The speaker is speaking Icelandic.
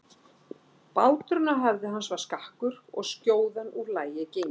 Báturinn á höfði hans var skakkur og skjóðan úr lagi gengin.